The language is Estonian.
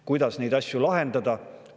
Kuidas neid asju lahendada?